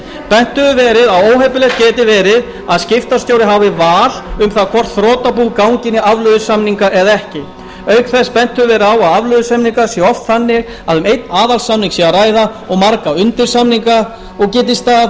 bent hefur verið á að óheppilegt geti verið að skiptastjóri hafi val um það hvort þrotabú gangi inn í afleiðusamninga eða ekki auk þess sem bent hefur verið á að afleiðusamningar séu oft þannig að um einn aðalsamning sé að ræða og marga undirsamninga og geti staða þeirra